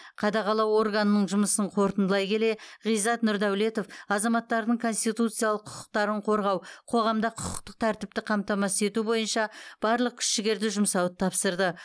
қадағалау органының жұмысын қорытындылай келе ғизат нұрдәулетов азаматтардың конституциялық құқықтарын қорғау қоғамда құқықтық тәртіпті қамтамасыз ету бойынша барлық күш жігерді жұмсауды тапсырды